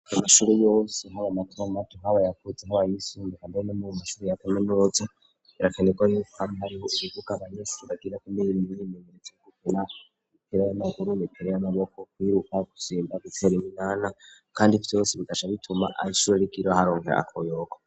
Ko'ishuri ryo mu ruvumera mu ntara ya bujumbura risanzwe ryubatse, kandi ryigisha abana kuva mu bindrweshikamww'icumi na gatatu rifise uburaro ibitanda bigerekeranye kabiri bishasheko amashuka afise amabara atandukanye, kandi risanzwe ryubakicije amatafari ahiyeko bufasi bushikane icuni.